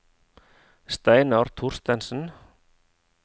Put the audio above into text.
Steinar Thorstensen